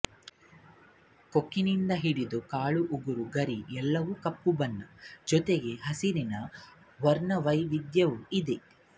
ಕೊಕ್ಕಿನಿಂದ ಹಿಡಿದು ಕಾಲು ಉಗುರು ಗರಿ ಎಲ್ಲವೂ ಕಪ್ಪು ಬಣ್ಣ ಜೊತೆಗೆ ಹಸಿರಿನ ವರ್ಣವೈವಿಧ್ಯವೂ ಇದೆ